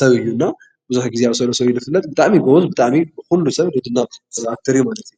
ሰብ እዩ እና ብዙሕ ግዜ ኣብ ሰብ ንሰብ ዝብል ድራማ ብጣዕሚ እዩ ጎበዝ። ብጣዕሚ ዝድነቕ አክተር እዩ ማለት እዩ::